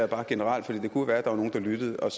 bare generelt for det kunne jo være der var nogle der lyttede og